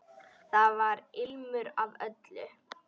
Þar var ilmur af öllu.